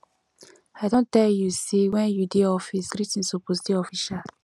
i don tell you sey wen you dey office greeting suppose dey official